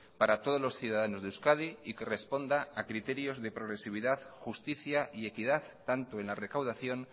para todos los ciudadanos de euskadi y que responda a criterios de progresividad justicia y equidad tanto en la recaudación